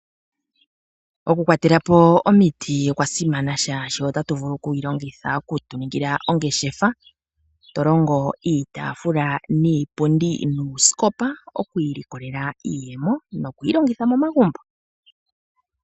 Okukwatelapo omiti okwa simana oshoka otatu vulu okudhi longitha okuninga ongeshefa. Tolongo iitaafula, iipundi, nuusikopa, okwiilikolela iiyemo, noshowo okuyi longitha momagumbo.